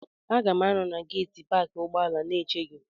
Aga m anọ na geeti paakị ụgbọala na-eche gị.